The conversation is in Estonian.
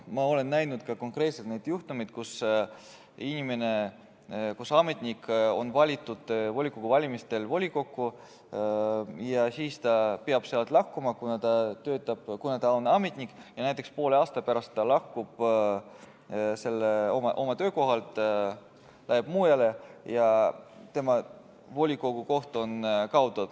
Ma olen näinud konkreetselt juhtumeid, kui ametnik on valitud volikogu valimistel volikokku ja siis ta peab sealt lahkuma, kuna ta on ametnik, ja näiteks poole aasta pärast lahkub ta oma töökohalt, läheb mujale ja tema volikogukoht on kaotatud.